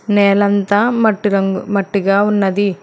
నేలంతా మట్టి రంగు మట్టిగా ఉన్నది.